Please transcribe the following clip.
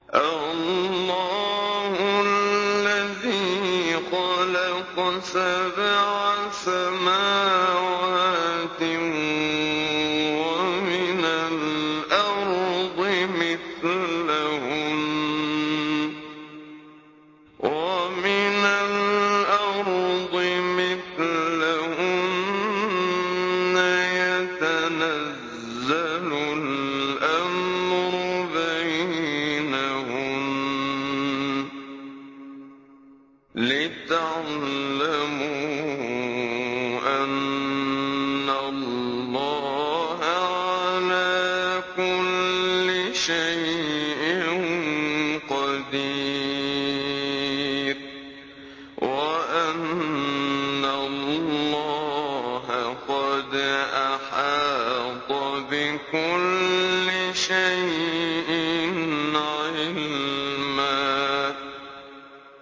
اللَّهُ الَّذِي خَلَقَ سَبْعَ سَمَاوَاتٍ وَمِنَ الْأَرْضِ مِثْلَهُنَّ يَتَنَزَّلُ الْأَمْرُ بَيْنَهُنَّ لِتَعْلَمُوا أَنَّ اللَّهَ عَلَىٰ كُلِّ شَيْءٍ قَدِيرٌ وَأَنَّ اللَّهَ قَدْ أَحَاطَ بِكُلِّ شَيْءٍ عِلْمًا